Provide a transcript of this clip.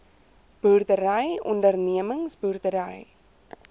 boerdery ondernemings boerdery